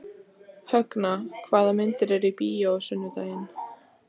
Högna, hvaða myndir eru í bíó á sunnudaginn?